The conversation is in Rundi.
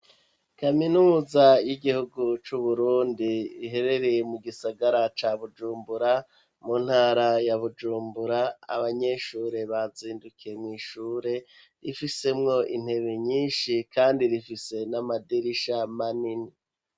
Kaminuza y'igihugu c'uburundi riherereye mu gisagara ca Bujumbura, mu ntara ya Bujumbura ,Abanyeshure bazindukiye mw'Ishure ifisemwo intebe nyinshi, kandi rifise n'amadirisha manini.